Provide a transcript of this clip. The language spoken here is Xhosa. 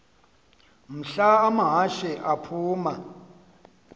mhla amahashe aphuma